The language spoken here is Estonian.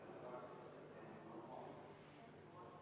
V a h e a e g